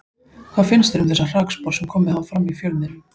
Hvað finnst þér um þessar hrakspár sem komið hafa fram í fjölmiðlum?